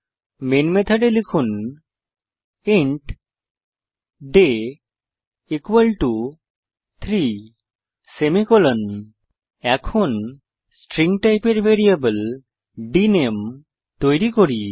main মেথডে লিখুন int d equal to 3 semicolon এখন স্ট্রিং টাইপের ভ্যারিয়েবল ডিএনএমই তৈরী করি